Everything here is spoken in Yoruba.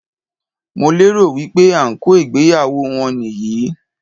Mo lérò wípé ànkò ìgbéyàwó wọn nì yí í